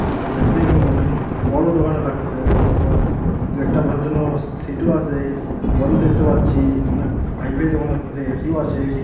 তো দেখতে অ-অনেক বড়ো দোকানও লাগতেসে তো অথবা দুই একটা বসার জন্য সি-সিটও আসে মোবাইলও দেখতে পাচ্ছি অনেক হাইফাই দোকান লাগতেসে এসিও আছে .